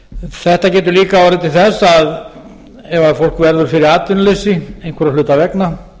þetta getur líka orðið til þess að ef fólk verður fyrir atvinnuleysi einhverra hluta vegna